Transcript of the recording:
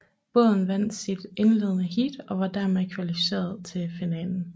Båden vandt sit indledende heat og var dermed kvalificeret til finalen